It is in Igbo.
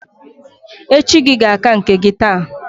Echi gi ga-aka nke gi taa